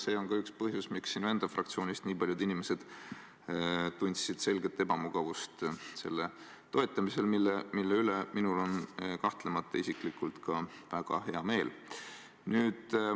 See on ka üks põhjusi, miks sinu enda fraktsioonist nii paljud inimesed tundsid selget ebamugavust selle reformi toetamisel, mille üle minul isiklikult on kahtlemata väga hea meel.